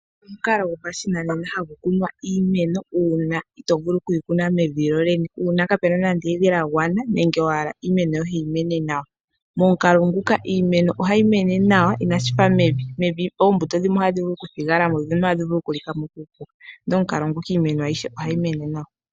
Omukalo gopashinanena hagu kunwa iimeno uuna ito vulu okuyi kuna mevi lolene , uuna kapena nande evi lagwana nenge wahala iimeno yohe yimene nawa. Momukalo nguka iimeno ohayi mene nawa inashifa mevi, mevi oombuto dhimwe ohadhi vulu okuthigalamo dhimwe ohadhi vulu okulikamo kuupuka, ndele omukalo nguka iimeno ayihe ohayi mene nawa.